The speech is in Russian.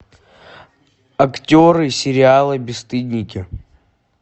актеры сериала бесстыдники